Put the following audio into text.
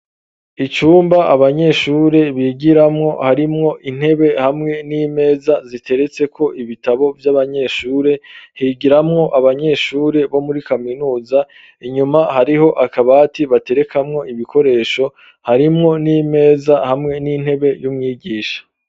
Icumba abanyeshure bigiramwo, harimwo intebe hamwe n'imeza ziteretseko ibitabo vy'abanyeshure, higiramwo abanyeshure bo muri kaminuza, inyuma hariho akabati baterekamwo ibikoresho, harimwo n'imeza hamwe n'intebe y'umwigisha.